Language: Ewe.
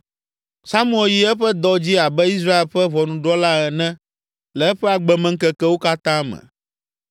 Samuel yi eƒe dɔ dzi abe Israel ƒe ʋɔnudrɔ̃la ene le eƒe agbemeŋkekewo katã me.